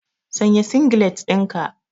Sanya singlet ɗinka.